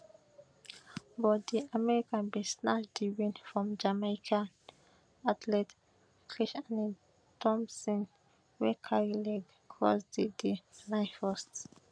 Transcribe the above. but di american bin snatch di win from jamaican athlete kishane thomson wey carry leg cross di di line first